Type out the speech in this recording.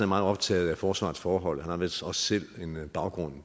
meget optaget af forsvarets forhold han har vist også selv en baggrund